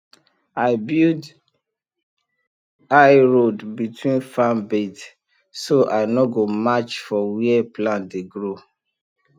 i build high road between farm bed so i no go match for where plant dey grow